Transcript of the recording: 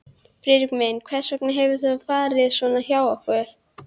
Friðrik minn, hvers vegna hefur þetta farið svona hjá okkur?